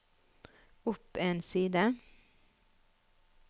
opp en side